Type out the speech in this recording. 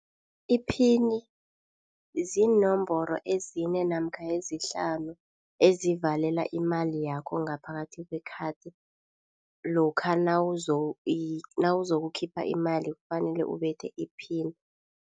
Iphini ziinomboro ezine namkha ezihlanu ezivalela imali yakho ngaphakathi kwekhadi, lokha nawuzokukhipha imali kufanele ubethe iphini.